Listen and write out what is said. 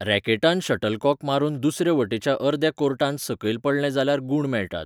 रॅकेटान shuttlecock मारून दुसरे वटेच्या अर्द्या कोर्टांत सकयल पडलें जाल्यार गूण मेळटात.